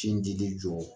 Sin dili jɔ